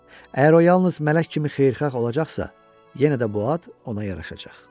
Əgər o yalnız mələk kimi xeyirxah olacaqsa, yenə də bu ad ona yaraşacaq.